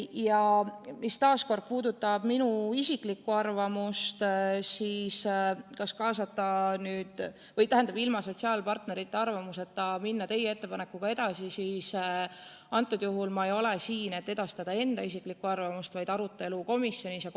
Ja taas kord, mis puudutab minu isiklikku arvamust, kas minna ilma sotsiaalpartnerite arvamuseta teie ettepanekuga edasi, siis kordan, et praegu ei ole ma siin selleks, et edastada enda isiklikku arvamust, vaid selleks, et edastada komisjonis toimunud arutelu.